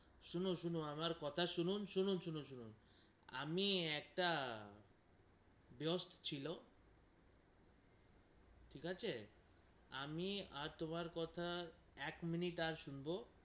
শুনুন, শুনুন আমার কথা শুনুন, শুনুন শুনুন শুনুন আমি একটা ব্যাস্ত ছিল ঠিক আছে আমি আর তোমার কথা এক মিনিট আর শুনবো,